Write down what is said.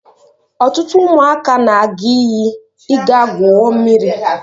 Ọtụtụ ụmụaka na-aga iyi ịga gwuo mmiri.